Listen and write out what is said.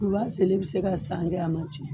U b'a selen bɛ se ka san kɛ a man tiɲɛ